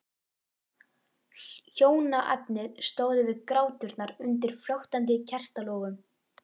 Hjónaefnin stóðu við gráturnar undir flöktandi kertalogum.